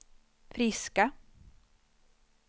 friska